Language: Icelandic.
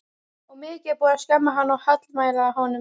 Og mikið er búið að skamma hann og hallmæla honum.